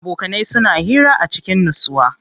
Abokanai suna hira a cikin nutsuwa.